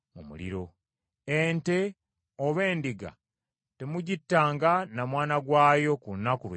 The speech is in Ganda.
Ente oba endiga temugittanga na mwana gwayo ku lunaku lwe lumu.